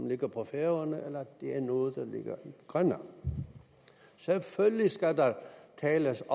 ligger på færøerne eller at det er noget der ligger i grønland selvfølgelig skal der tales